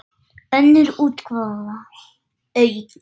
Önnur útgáfa, aukin.